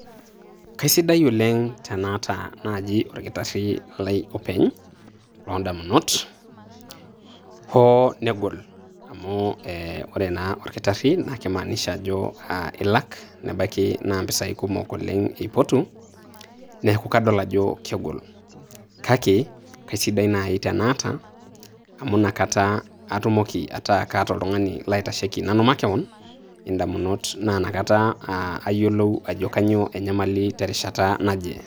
Kaisiadi oleng' tenaata naaji olkitaari lai openy loo ndamunot hoo negol amu koree naa olkitari eimaanisha ajo ilak nebaiki naa mpisai kumok oleng' eipotu neaku kadol ajo egol . Kake kaisidai naaji teneata amu inakata atumoki ataata oltung'ani looitasheki nanu makewon indamut naa inakata ayielou ajo kaa enyamali terishat naje.